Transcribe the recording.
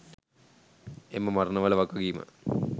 එම මරණවල වගකීම